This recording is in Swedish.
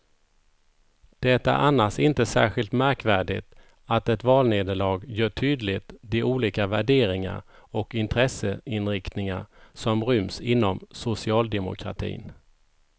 Det är annars inte särskilt märkvärdigt att ett valnederlag gör tydligt de olika värderingar och intresseinriktningar som ryms inom socialdemokratin.